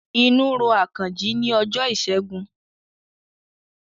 Inú ro Àkànjí ni ọjọ́ ìṣẹ́gun